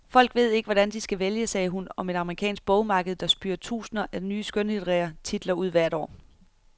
Folk ved ikke, hvordan de skal vælge, sagde hun om et amerikansk bogmarked, der spyr tusinder af nye skønlitterære titler ud hvert år.